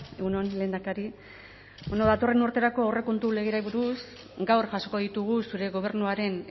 egun on lehendakari datorren urterako aurrekontu legeari buruz gaur jasoko ditugu zure gobernuaren